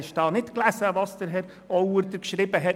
Hast du nicht gelesen, was Herr Christoph Auer geschrieben hat.